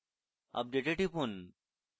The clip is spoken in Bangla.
update এ টিপুন